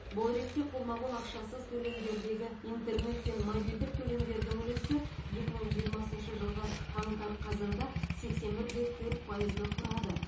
бұл ретте қолма қол ақшасыз төлемдердегі интернет пен мобильдік төлемдердің үлесі екі мың жиырмасыншы жылғы қаңтар қазанда сексен бір де төрт пайызды құрады